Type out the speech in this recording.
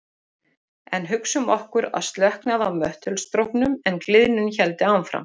Þá myndast þeim mun meira af koltvíildi.